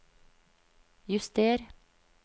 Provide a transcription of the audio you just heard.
juster